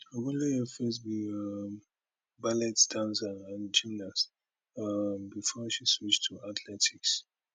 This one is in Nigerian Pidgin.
ogunleye first be um ballet dancer and gymnast um before she switch to athletics